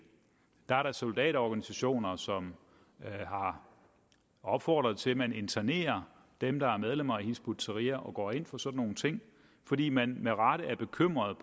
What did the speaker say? der er da soldaterorganisationer som har opfordret til at man internerer dem der er medlemmer af hizb ut tahrir og går ind for sådan nogle ting fordi man med rette er bekymret